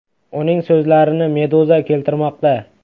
Uning so‘zlarini Meduza keltirmoqda .